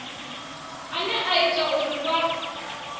ane a ita uri vha